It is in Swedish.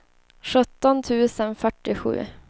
sjutton tusen fyrtiosju